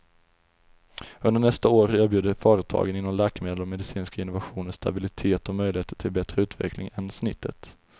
Under nästa år erbjuder företagen inom läkemedel och medicinska innovationer stabilitet och möjligheter till bättre utveckling än snittet.